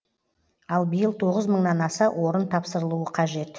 ал биыл тоғыз мыңнан аса орын тапсырылуы қажет